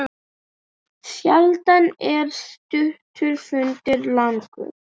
Hvernig má það vera?!